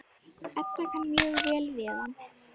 Edda kann mjög vel við hann.